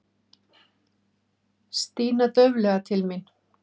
Stína dauflega til mín.